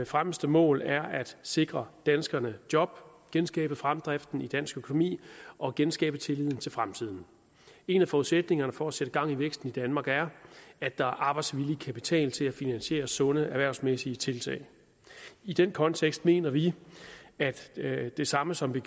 fremmeste mål er at sikre danskerne job genskabe fremdriften i dansk økonomi og genskabe tilliden til fremtiden en af forudsætningerne for at sætte gang i væksten i danmark er at der er arbejdsvillig kapital til at finansiere sunde erhvervsmæssige tiltag i den kontekst mener vi det samme som vi